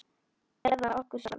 Eða okkur sjálf?